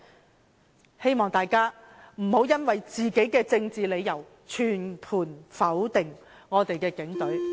我希望大家不要因為政治理由而全盤否定我們的警隊。